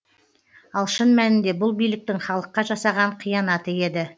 ал шын мәнінде бұл биліктің халыққа жасаған қиянаты еді